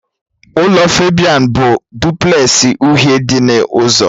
Ụlọ Febian bụ duplẹsị uhie dị n'ụzọ